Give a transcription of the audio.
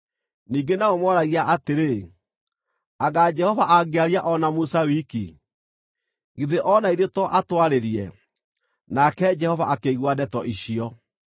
Ningĩ nao mooragia atĩrĩ, “Anga Jehova angĩaria o na Musa wiki? Githĩ o na ithuĩ to atwarĩrie?” Nake Jehova akĩigua ndeto icio.